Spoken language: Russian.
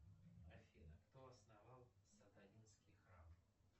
афина кто основал сатанинский храм